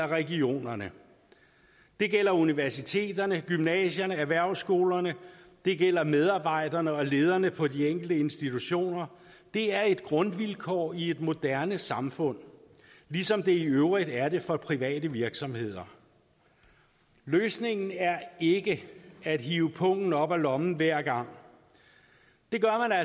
regionerne det gælder universiteterne gymnasierne erhvervsskolerne og det gælder medarbejderne og lederne på de enkelte institutioner det er et grundvilkår i et moderne samfund ligesom det i øvrigt er det for private virksomheder løsningen er ikke at hive pungen op af lommen hver gang det gør